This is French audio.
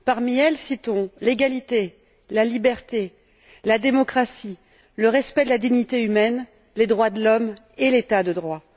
Parmi elles, citons l'égalité, la liberté, la démocratie, le respect de la dignité humaine, les droits de l'homme et l'état de droit.